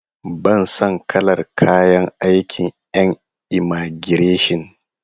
Ban son kalar kayan aikin en imagireshin.